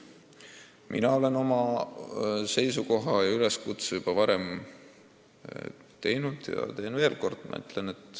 Mina olen oma üleskutse juba varem teinud ja teen veel kord.